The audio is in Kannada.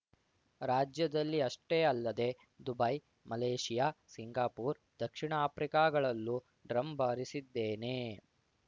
ರಾಜ್ಯದಲ್ಲಿ ಅಷ್ಟೇ ಅಲ್ಲದೆ ದುಬೈ ಮಲೇಷಿಯಾ ಸಿಂಗಾಪೂರ್‌ ದಕ್ಷಿಣ ಆಫ್ರಿಕಾಗಳಲ್ಲೂ ಡ್ರಮ್‌ ಬಾರಿಸಿದ್ದೇನೆ